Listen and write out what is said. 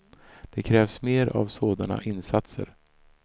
Det krävs mer av sådana insatser.